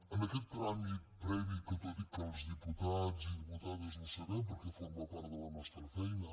en aquest tràmit previ que tot i que els diputats i diputades ho sabem perquè forma part de la nostra feina